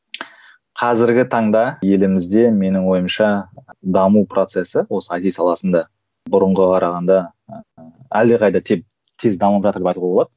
қазіргі таңда елімізде менің ойымша даму процесі осы айти саласында бұрынғыға қарағанда ыыы әлдеқайда тең тез дамып жатыр деп айтуға болады